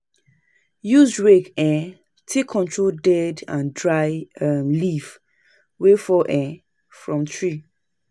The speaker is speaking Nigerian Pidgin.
Use rake um take comot dead and dry um leaves wey fall um from tree